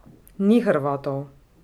Ni Hrvatov.